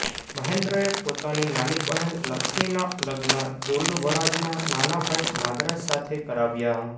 મહેન્દ્રએ પોતાની નાની બહેન લક્ષ્મીના લગ્ન દુર્લભરાજના નાના ભાઈ નાગરાજ સાથે કરાવ્યા